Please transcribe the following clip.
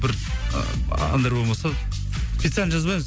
бір ыыы әндер болмаса специально жазбаймыз